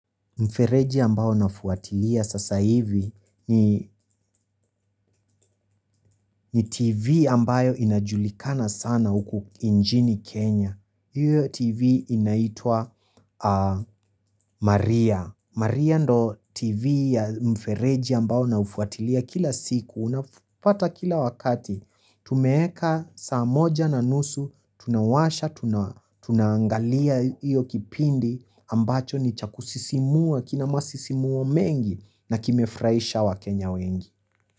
Mfereji ambayo nafuatilia sasa hivi ni TV ambayo inajulikana sana huku nchini Kenya. Hiyo TV inaitwa Maria. Maria ndio TV ya mfereji ambao naufuatilia kila siku. Unapata kila wakati. Tumeweka saa moja na nusu. Tunawasha, tunaangalia hiyo kipindi ambacho ni cha kusisimua kina masisimuo mengi na kimefurahisha wakenya wengi.